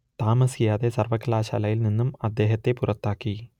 താമസിയാതെ സർവ്വകലാശാലയിൽ നിന്നും അദ്ദേഹത്തെ പുറത്താക്കി